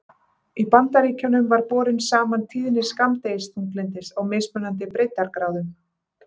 Í Bandaríkjunum var borin saman tíðni skammdegisþunglyndis á mismunandi breiddargráðum.